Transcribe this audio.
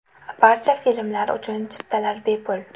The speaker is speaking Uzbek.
Barcha filmlar uchun chiptalar bepul.